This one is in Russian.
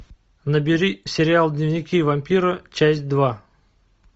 набери сериал дневники вампира часть два